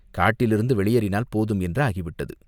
காட்டிலிருந்து வெளியேறினால் போதும் என்று ஆகிவிட்டது.